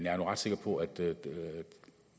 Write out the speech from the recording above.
er nu ret sikker på at det